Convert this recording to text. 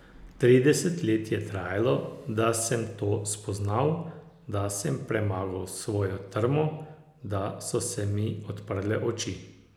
Trideset let je trajalo, da sem to spoznal, da sem premagal svojo trmo, da so se mi odprle oči.